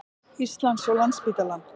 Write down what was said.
Íslands og Landspítalann.